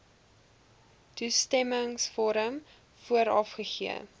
toestemmingsvorm vooraf gegee